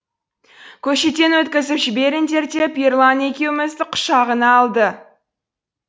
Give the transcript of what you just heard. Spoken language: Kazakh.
көшеден өткізіп жіберіңдер деп ерлан екеумізді құшағына алды